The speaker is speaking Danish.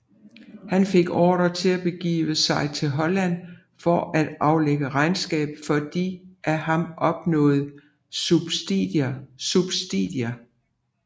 Han fik ordre til at begive sig til Holland for at aflægge regnskab for de af ham oppebårne subsidier